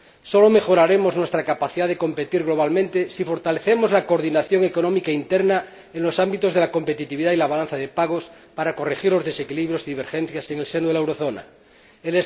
Sólo mejoraremos nuestra capacidad de competir globalmente si fortalecemos la coordinación económica interna en los ámbitos de la competitividad y la balanza de pagos para corregir los desequilibrios y divergencias en el seno de la zona del euro.